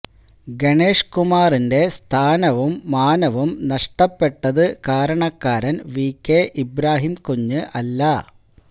ഗണേഷ് കുമാറിന്റെ സ്ഥാനവും മാനവും നഷ്ടപ്പെട്ടത് കാരണക്കാരന് വികെ ഇബ്രാഹിം കുഞ്ഞ് അല്ല